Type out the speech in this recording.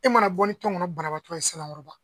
E mana bɔ ni tɔnkɔnɔ banabaatɔ ye Sanankɔrɔba